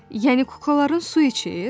Yəni kuklaların su içir?